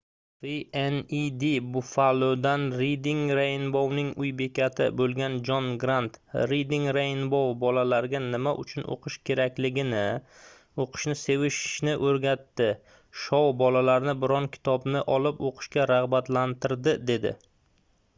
wned buffalo'dan reading rainbow'ning uy bekati bo'lgan jon grant reading rainbow bolalarga nima uchun o'qish kerakligini, o'qishni sevishni o'rgatdi — [shou] bolalarni biror kitobni olib o'qishga rag'batlantirdi dedi